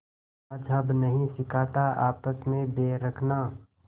मज़्हब नहीं सिखाता आपस में बैर रखना